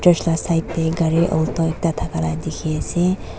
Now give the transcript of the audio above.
church laga side teh kari alto ekta takala teki asee.